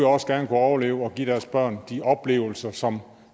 også gerne kunne overleve og give deres børn de oplevelser som